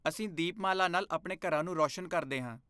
ਅਸੀਂ ਦੀਪਮਾਲਾ ਨਾਲ ਆਪਣੇ ਘਰਾਂ ਨੂੰ ਰੌਸ਼ਨ ਕਰਦੇ ਹਾਂ।